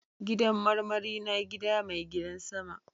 Gidan marmari na gida mai gidan sama.